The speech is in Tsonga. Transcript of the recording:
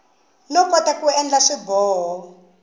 no kota ku endla swiboho